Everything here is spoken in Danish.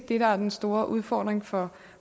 det der er den store udfordring for